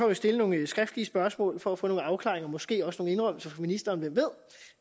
vil stille nogle skriftlige spørgsmål for at få nogle afklaringer måske også nogle indrømmelser af ministeren hvem ved